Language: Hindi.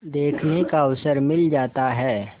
देखने का अवसर मिल जाता है